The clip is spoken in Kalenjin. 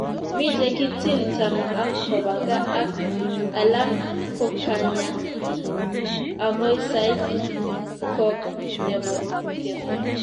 mii che kitill tamaa ak koba kaa ak alakkokanya okoi sait lok ne bo kemoi